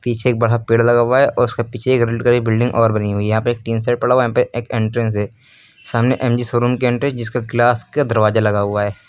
पीछे बड़ा पेड़ लगा हुआ है उसका पीछे एक रेड कलर के बिल्डिंग और बनी हुई है यहां पर टीन सेट पड़ा हुआ है यहाँ पे एक एंट्रेंस है सामने एम_जी शोरूम के अंदर जिसका ग्लास का दरवाजा लगा हुआ है।